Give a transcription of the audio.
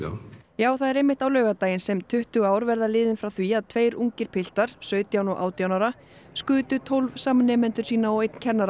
já það er einmitt á laugardaginn sem tuttugu ár verða liðin frá því að tveir ungir piltar sautján og átján ára skutu tólf samnemendur sína og einn kennara